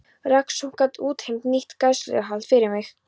Rannsókn gat útheimt nýtt gæsluvarðhald fyrir mig.